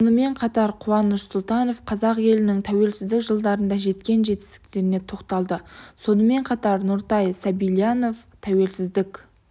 сонымен қатар қуаныш сұлтанов қазақ елінің тәуелсіздік жылдарында жеткен жетістіктеріне тоқталды сонымен қатар нұртай сабильянов тәуелсіздік